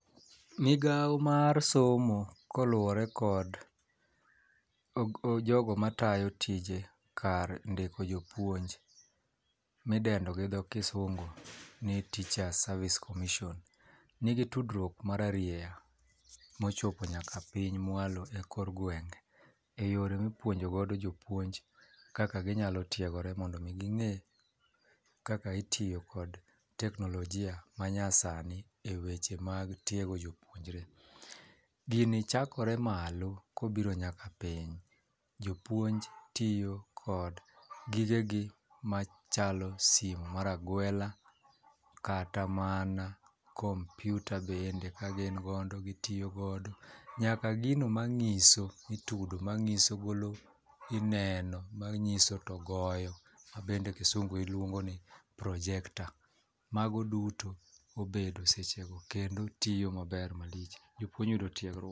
Migawo mar somo koluwore kod jogo matayo tije kar ndiko jopuonj midendo gi dho kisungu ni teacher service comission nigi tudruok mararieya mochopo nyaka piny mwalo e kor gwenge e yore mipuonjo godo jopuonj kaka ginyalo tiegore mondo mi ging'e kaka itiyo kod teknolojia ma nya sani e weche mag tiego jopuonjre .Gini chakore malo kobiro nyaka piny, jopuonj tiyo kod gige gi machalo sime mar agwela kata mana komputa bende ka gin godo gitiyo godo nyaka gino mang'iso mi tudo ma golo mineno mangiso to goyo ma bende kisungu dendo ni projector. Mago duto bedo e seche go kendo tiyo maber kabisa mago duto obedo seche go kendo tiyo maber malich jopuonj yudo .